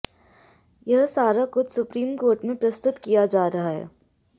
यह सारा कुछ सुप्रीम कोर्ट में प्रस्तुत किया जा रहा है